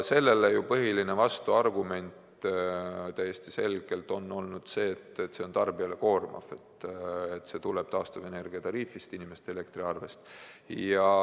Sellele põhiline vastuargument on olnud see, et see on tarbijale koormav, see tuleb taastuvenergia tariifist, inimeste elektriarvest.